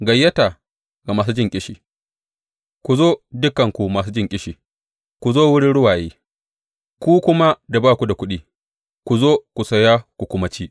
Gayyata ga masu jin ƙishi Ku zo, dukanku masu jin ƙishi, ku zo wurin ruwaye; ku kuma da ba ku da kuɗi, ku zo, ku saya ku kuma ci!